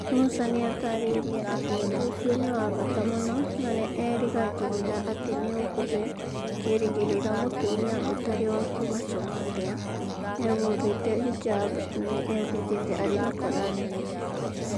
Musa nĩ ataarĩirie atĩ ũndũ ũcio nĩ wa bata mũno na nĩ erĩgagĩrĩra atĩ nĩ ũkũhe kĩĩrĩgĩrĩro mũtumia ũtarĩ wa kuuma Somalia, ehumbĩte hijab, nĩ ehĩtĩte arĩ na Koran nene.